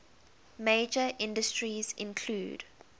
major industries include